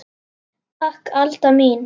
Takk Alda mín.